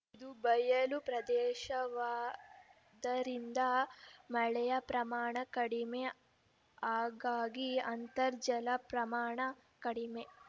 ಇದು ಬಯಲು ಪ್ರದೇಶವಾದರಿಂದ ಮಳೆಯ ಪ್ರಮಾಣ ಕಡಿಮೆ ಹಾಗಾಗಿ ಅಂತರ್ಜಲದ ಪ್ರಮಾಣ ಕಡಿಮೆ